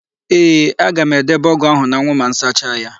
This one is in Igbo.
Ee, aga m edebe ọ́gụ̀ áhụ̀ n'anwụ ma m sacha ya.